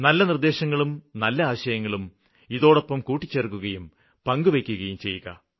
നല്ല നിര്ദ്ദേശങ്ങളും നല്ല ആശയങ്ങളും ഇതോടൊപ്പം കൂട്ടിച്ചേര്ക്കുകയും പങ്കുവെയ്ക്കുകയും ചെയ്യുക